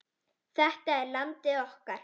Þetta er landið okkar.